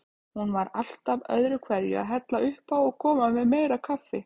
Hún var alltaf öðruhverju að hella uppá og koma með meira kaffi.